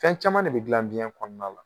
Fɛn caman de bɛ dilan biɲɛ kɔnɔna la